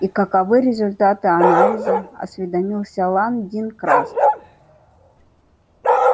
и каковы результаты анализа осведомился лан дин краст